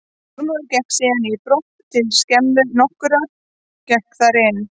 Þormóður gekk síðan í brott til skemmu nokkurrar, gekk þar inn.